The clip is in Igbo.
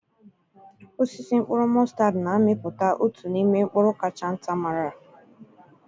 Osisi mkpụrụ mọstad na-amịpụta otu n'ime mkpụrụ kacha nta mara.